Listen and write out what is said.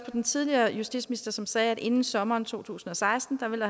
den tidligere justitsminister som sagde at inden sommeren to tusind og seksten ville